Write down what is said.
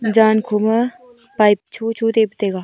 jaan khoma pipe chocho taipu taiga.